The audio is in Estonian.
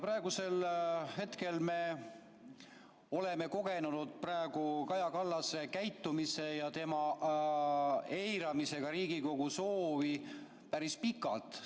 Praegu me oleme kogenud Kaja Kallase käitumist, kus ta eirab Riigikogu soovi, päris pikalt.